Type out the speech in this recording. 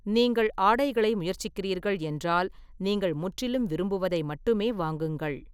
நீங்கள் ஆடைகளை முயற்சிக்கிறீர்கள் என்றால், நீங்கள் முற்றிலும் விரும்புவதை மட்டுமே வாங்குங்கள்.